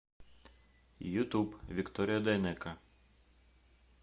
ютуб виктория дайнеко